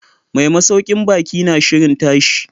Mai masaukin baki na shirin tashi.